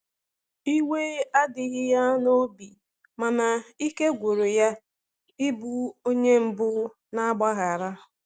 iwe adighi ya n'obi, mana ike gwụrụ ya ị bụ onye mbu na agbaghara